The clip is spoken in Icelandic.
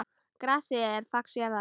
Grasið er fax jarðar.